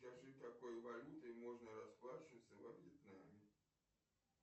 скажи какой валютой можно расплачиваться во вьетнаме